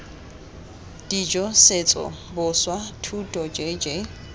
dijo setso boswa thuto jj